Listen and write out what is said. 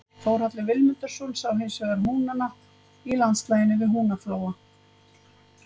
Þórhallur Vilmundarson sá hinsvegar húnana í landslaginu við Húnaflóa.